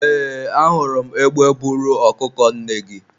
eeee, a hụrụ m egbe buru ọkụkọ nne gị